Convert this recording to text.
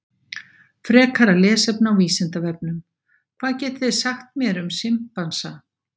Frekara lesefni á Vísindavefnum: Hvað getið þið sagt mér um simpansa?